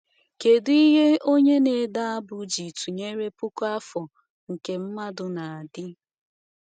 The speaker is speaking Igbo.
Kedu ihe onye na-ede abụ ji tụnyere puku afọ nke mmadụ na-adị?